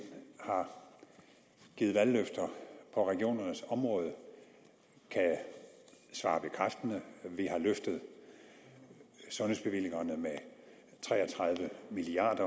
har givet valgløfter på regionernes område kan jeg svare bekræftende vi har løftet sundhedsbevillingerne med tre og tredive milliard